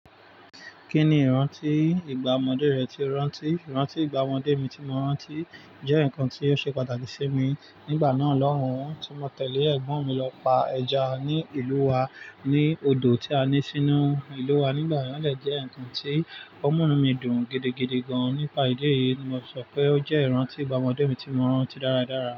Kí ni ìrántí ìgbà ọmọdé rẹ tí o rántí? Ìrántí ìgbà ọmọdé mi tí mo rántí jẹ́ nǹkan tí ó ṣe pàtàkì sí mi. Nígbà náà, lọ́hun, tí mo tẹ̀lé ẹ̀gbọ́n mi lọ pa ẹja ní ìlú wa ní odò tí a ní sínú ìlú wa. Nígbà náà lè jẹ́ ǹkan tí ọmu inù mí dùn gidigidi gan. Nípa ìdí èyí ni mo sọ pé ó jẹ́ ìrántí ìgbà ọmọdé mi tí mo rántí dáradára.